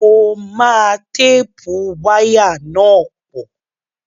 Mo máa téèpù wáyà náà pọ̀